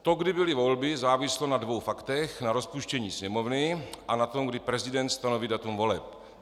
To, kdy byly volby, záviselo na dvou faktech - na rozpuštění Sněmovny a na tom, kdy prezident stanoví datum voleb.